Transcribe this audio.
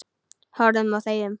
Horfum og þegjum.